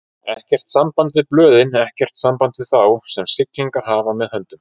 Ekkert samband við blöðin, ekkert samband við þá, sem siglingar hafa með höndum.